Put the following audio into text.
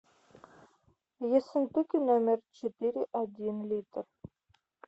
ессентуки номер четыре один литр